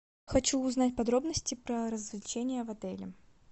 хочу узнать подробности про развлечения в отеле